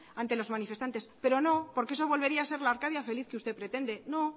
ante los manifestantes pero no porque eso volvería ser la arcadia feliz que usted pretende no